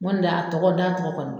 Nko ni de y' a tɔgɔ da tɔgɔ kɔnɔ.